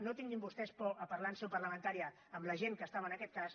no tinguin vostès por a parlar en seu parlamentària amb la gent que estava en aquest cas